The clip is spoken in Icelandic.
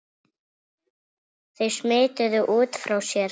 Þau smituðu út frá sér.